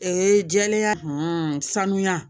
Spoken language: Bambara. jɛlenya sanuya